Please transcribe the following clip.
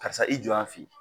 Karisa i jɔ yan fɛ yen.